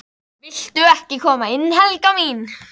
VILTU EKKI KOMA INN, HELGA MÍN!